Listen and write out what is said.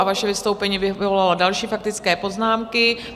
A vaše vystoupení vyvolalo další faktické poznámky.